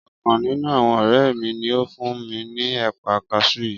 Ọkàn nínú àwọn ọ̀rẹ́ mi ni ó fún mi ní ẹ̀pà kaṣú yìí